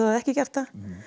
ekki gert það